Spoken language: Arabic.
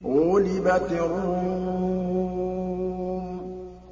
غُلِبَتِ الرُّومُ